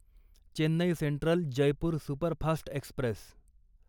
Chennai central Jaipur superfast Express